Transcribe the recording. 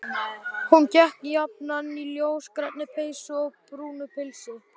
Hún gekk jafnan í ljósgrænni peysu og brúnu pilsi.